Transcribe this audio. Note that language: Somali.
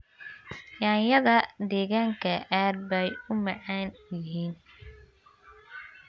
Yaanyada deegaanka aad bay u macaan yihiin.